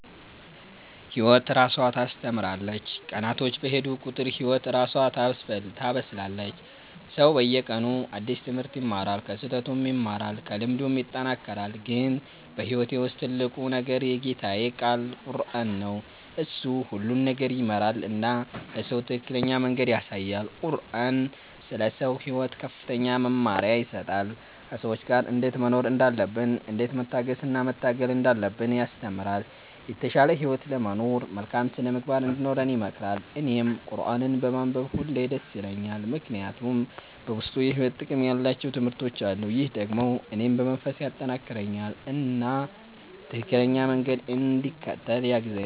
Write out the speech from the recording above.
ህይወት እራሷ ታስተምራለች፤ ቀናቶች በሄዱ ቁጥር ህይወት እራሷ ታበስላለች። ሰው በየቀኑ አዲስ ትምህርት ይማራል፣ ከስህተቱም ይማራል፣ ከልምዱም ይጠናከራል። ግን በህይወቴ ውስጥ ትልቁ ነገር የጌታዬ ቃል ቁረአን ነው። እሱ ሁሉን ነገር ይመራል እና ለሰው ትክክለኛ መንገድ ያሳያል። ቁረአን ስለ ሰው ሕይወት ከፍተኛ መመሪያ ይሰጣል፤ ከሰዎች ጋር እንዴት መኖር እንዳለብን፣ እንዴት መታገስ እና መታገል እንዳለብን ያስተምራል። የተሻለ ህይወት ለመኖር መልካም ሥነ-ምግባር እንዲኖረን ይመክራል። እኔም ቁረአንን በማንበብ ሁሌ ደስ ይለኛል፣ ምክንያቱም በውስጡ የሕይወት ጥቅም ያላቸው ትምህርቶች አሉ። ይህ ደግሞ እኔን በመንፈስ ያጠናክረኛል እና ትክክለኛ መንገድ እንድከተል ያግዛኛል።